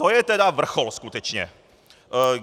To je teda vrchol skutečně!